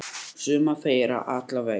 Suma þeirra allavega.